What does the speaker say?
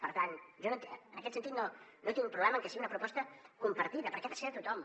per tant jo en aquest sentit no tinc problema amb que sigui una proposta compartida perquè ha de ser de tothom